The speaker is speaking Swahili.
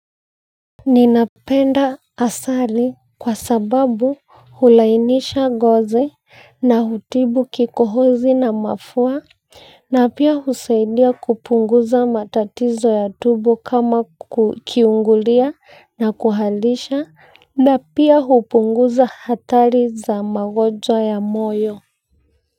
Ninapenda asali kwa sababu hulainisha ngozi na hutibu kikohozi na mafua na pia husaidia kupunguza matatizo ya tumbo kama kiungulia na kuhalisha na pia hupunguza hatari za magonjwa ya moyo. Kwa hivyo.